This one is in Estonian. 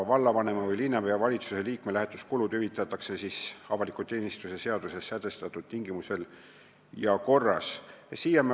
Vallavanema või linnavalitsuse liikme lähetuskulud hüvitatakse avaliku teenistuse seaduses sätestatud tingimustel ja korras.